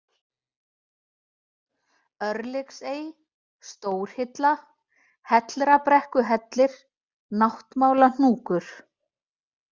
Örlygsey, Stórhilla, Hellrabrekkuhellir, Náttmálahnúkur